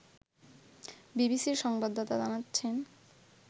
বিবিসির সংবাদদাতা জানাচ্ছেন